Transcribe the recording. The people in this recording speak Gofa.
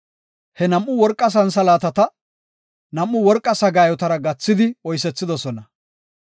He nam7u worqa santhalaatata nam7u worqa sagaayotara gathidi oysethidosona.